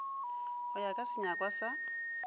go ya ka senyakwa sa